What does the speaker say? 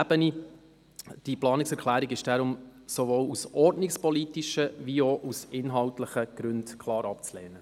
Diese Planungserklärung ist deshalb sowohl aus ordnungspolitischen als auch aus inhaltlichen Gründen klar abzulehnen.